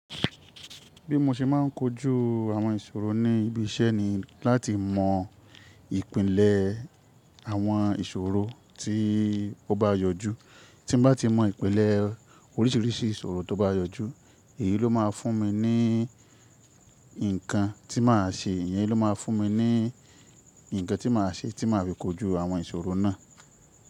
Bí mo ṣe máà ń kojú àwọn ìṣòro ní ibi iṣẹ́ ni láti mọ ìpìlẹ̀ àwọn ìṣòro tí ó bá yọjú. Tí n bá ti mọ ìpìlẹ̀ orísìírísìí ìṣòro tó bá yọjú, èyí ló máa fún mi ní nǹkan tí màá ṣe, ìyẹn ló máa fún mi ní nǹkan tí màá ṣe tí màá fi kojú àwọn ìṣòro náà.